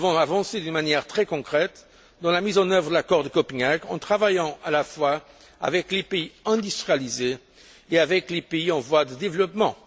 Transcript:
Nous devons avancer d'une manière très concrète dans la mise en œuvre de l'accord de Copenhague, en travaillant à la fois avec les pays industrialisés et avec les pays en développement.